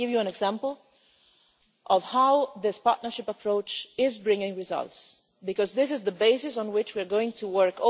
I will give you an example of how this partnership approach is bringing results, because this is the basis on which we are going to work.